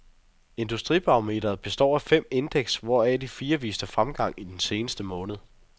Industibarometeret består af fem indeks, hvoraf de fire viste fremgang i den seneste måned.